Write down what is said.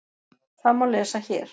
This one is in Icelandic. Það má lesa hér.